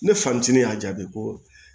Ne fa ntini y'a jaabi ko